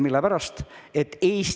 Mille pärast?